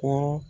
Kɔrɔ